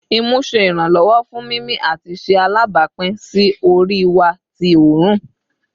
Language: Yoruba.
Imu ṣe iranlọwọ fun mimi ati ṣe alabapin si ori wa ti oorun